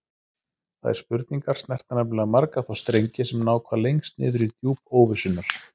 Þær spurningar snerta nefnilega marga þá strengi sem ná hvað lengst niður í djúp óvissunnar.